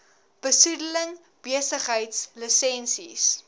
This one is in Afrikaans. besoedeling besigheids lisensies